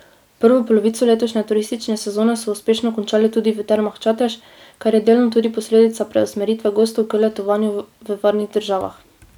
Prvo polovico letošnje turistične sezone so uspešno končali tudi v Termah Čatež, kar je delno tudi posledica preusmeritve gostov k letovanju v varnih državah ...